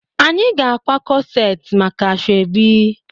Anyị ga-akwa corset maka asoebi